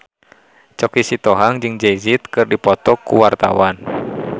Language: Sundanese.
Choky Sitohang jeung Jay Z keur dipoto ku wartawan